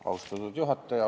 Austatud juhataja!